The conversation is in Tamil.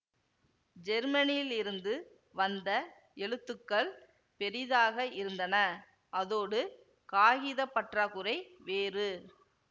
ஜெர்மனியிலிருந்து வந்த எழுத்துக்கள் பெரிதாக இருந்தன அதோடு காகித பற்றாக்குறை வேறு